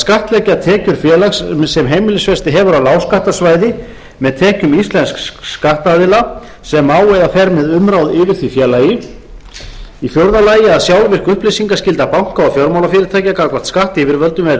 skattleggja tekjur félags sem heimilisfesti hefur á lágskattasvæði með tekjum íslensks skattaðila sem á eða fer með umráð yfir því félagi fjórði að sjálfvirk upplýsingaskylda banka og fjármálafyrirtækja gagnvart skattyfirvöldum verði